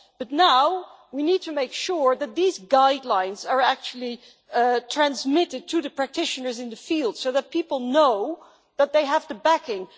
But now we need to make sure that these guidelines are actually transmitted through the practitioners in the field so that people know that they have the backing.